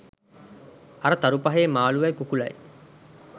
අර තරු පහේ මාලුවයි කුකුළයි